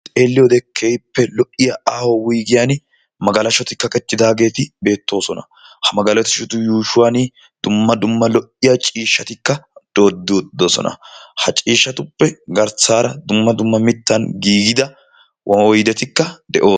Xelliyoode keehippe lo'iya aaho wuyigiyan magalaahoti kaqettidaageeti beettoosona. Ha magalashotu yuushuwan dumma dumma lo'iya ciishshati doodi uttidosona. Ha ciishshatuppe garssaara dumma dumma mittan giigida oyidetikka de'oosona.